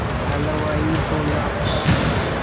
हलवाई बोला